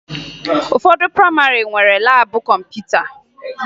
Ụfọdụ prayịmarị nwere laabụ kọmputa